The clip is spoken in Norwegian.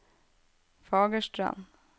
Fagerstrand